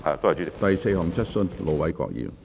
第四項質詢。